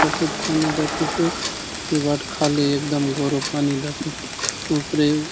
सफेद पानी दखेसे ए बाटे खाले एकदम गोरो पानी दखेसे ऊपरे --